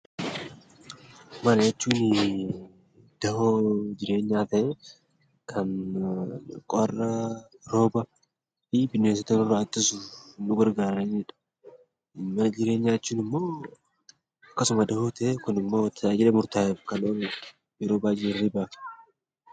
Mana jechuun dawoo jireenyaa ta'ee, kan qorra, rooba fi bineensota nurraa ittisuuf nu gargaaranidha. Mana jireenyaa jechuun immoo akkasuma dawoo ta'ee tajaajila murtaa'eef kan ooludha. Yeroo baayyee